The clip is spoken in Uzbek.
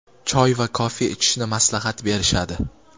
choy va kofe ichishni maslahat berishadi.